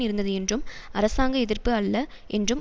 இருந்தது என்றும் அரசாங்க எதிர்ப்பு அல்ல என்றும்